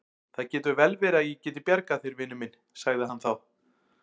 Það getur vel verið að ég geti bjargað þér, vinur minn sagði hann þá.